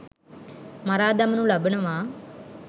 මරා දමනු ලබනවා.